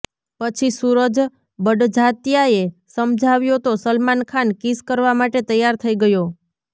પછી સુરજ બડજાત્યાએ સમજાવ્યો તો સલમાન ખાન કિસ કરવા માટે તૈયાર થઈ ગયો